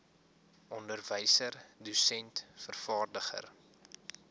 onderwyser dosent vervaardiger